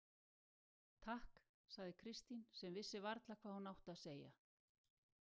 Takk, sagði Kristín sem vissi varla hvað hún átti að segja.